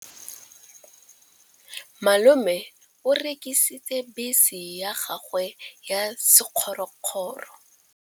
Malome o rekisitse bese ya gagwe ya sekgorokgoro.